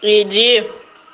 иди